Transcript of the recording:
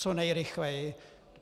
Co nejrychleji.